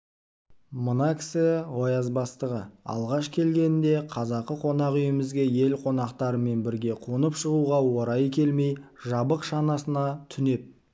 мына кісі ояз бастығы алғаш келгенінде қазақы қонақ үйімізге ел қонақтарымен бірге қонып шығуға орайы келмей жабық шанасына түнеп